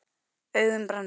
Augun brenna.